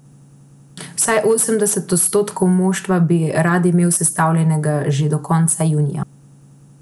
Vsaj osemdeset odstotkov moštva bi rad imel sestavljenega že do konca junija.